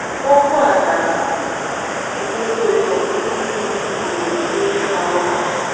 OKWU a na - egosi otú ọtụtụ ndị si ele ịgha ụgha